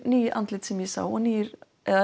ný andlit sem ég sá og nýir